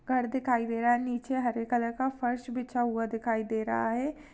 घर दिखाई दे रहा है नीचे हरे कलर का फर्श बिचा हुआ दिखाई दे रहा है।